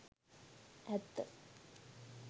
ඇත්ත